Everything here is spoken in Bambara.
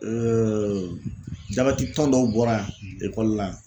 jabɛti tɔn dɔw bɔra ekɔli la